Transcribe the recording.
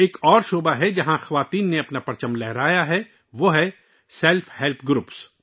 ایک اور شعبہ ہے جہاں خواتین نے اپنی پہچان بنائی ہے، وہ ہے سیلف ہیلپ گروپ